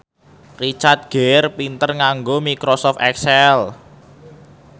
Richard Gere pinter nganggo microsoft excel